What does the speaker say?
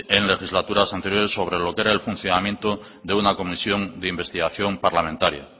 en legislaturas anteriores sobre lo que era el funcionamiento de una comisión de investigación parlamentaria